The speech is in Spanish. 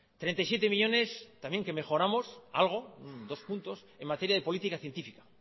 treinta y siete millónes también que mejoramos algo dos puntos en materia de política científica